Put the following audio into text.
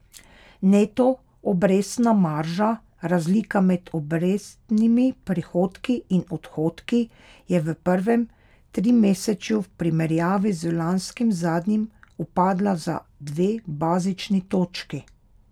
Neto obrestna marža, razlika med obrestnimi prihodki in odhodki, je v prvem trimesečju v primerjavi z lanskim zadnjim upadla za dve bazični točki.